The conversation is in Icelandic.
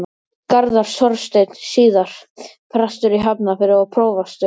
Garðar Þorsteinsson, síðar prestur í Hafnarfirði og prófastur.